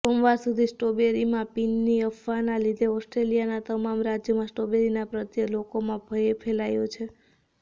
સોમવાર સુધી સ્ટ્રોબેરીમાં પિનની અફવાના લીધે ઑસ્ટ્રેલિયાના તમામ રાજ્યોમાં સ્ટ્રોબેરીના પ્રત્યે લોકોમાં ભયે ફેલાયો છે